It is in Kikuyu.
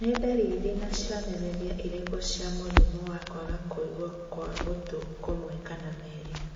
Nĩ ndariri na cionereria irĩkũ cia mũrimũ wa kwaga kũigua gwa gũtũ kũmwe kana merĩ